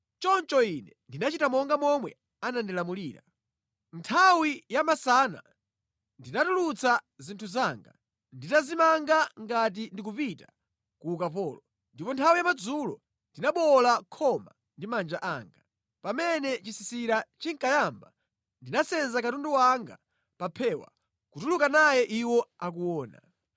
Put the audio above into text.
Choncho ine ndinachita monga momwe anandilamulira. Nthawi yamasana ndinatulutsa zinthu zanga nditazimanga ngati ndikupita ku ukapolo. Ndipo nthawi yamadzulo ndinabowola khoma ndi manja anga. Pamene chisisira chinkayamba, ndinasenza katundu wanga pa phewa kutuluka naye iwo akuona.